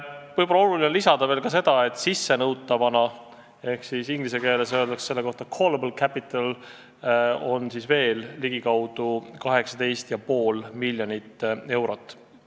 Võib-olla on oluline lisada ka seda, et sissenõutavana on veel ligikaudu 18,5 miljonit eurot.